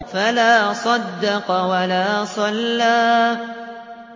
فَلَا صَدَّقَ وَلَا صَلَّىٰ